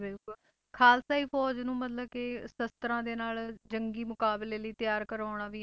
ਬਿਲਕੁਲ ਖ਼ਾਲਸਾਈ ਫ਼ੌਜ਼ ਨੂੰ ਮਤਲਬ ਕਿ ਸ਼ਸ਼ਤਰਾਂ ਦੇ ਨਾਲ ਜੰਗੀ ਮੁਕਾਬਲੇ ਲਈ ਤਿਆਰ ਕਰਵਾਉਣਾ ਵੀ